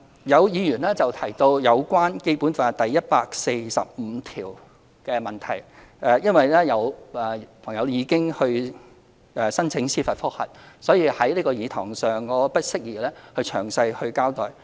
有議員提到有關《基本法》第一百四十五條的問題，因為有市民可能申請司法覆核，所以在這個議事堂我不宜詳細交代。